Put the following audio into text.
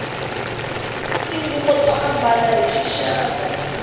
tinguvu to ambala hi xixaka